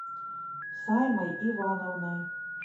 саймой ивановной